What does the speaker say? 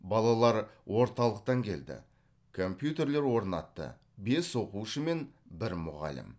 балалар орталықтан келді компьютерлер орнатты бес оқушы мен бір мұғалім